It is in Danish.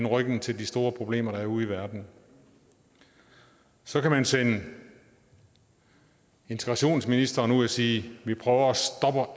ryggen til de store problemer der er ude i verden så kan man sende integrationsministeren ud at sige vi prøver